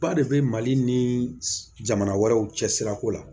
Ba de bɛ mali ni jamana wɛrɛw cɛsiriko la